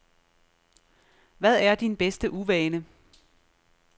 Hvad er din bedste uvane?